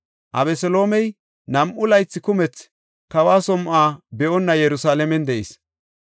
Abeseloomey nam7u laythi kumethi kawa som7o be7onna Yerusalaamen de7is.